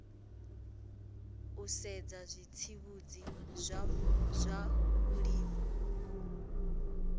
u sedza zwitsivhudzi zwa vhulimi